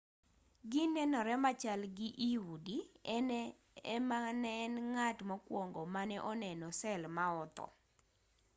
ginenore machal gi i udi en ema ne en ng'at mokwongo mane oneno sel ma otho